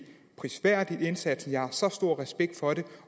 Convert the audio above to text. prisværdig indsats jeg har så stor respekt for det